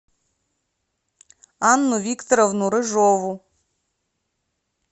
анну викторовну рыжову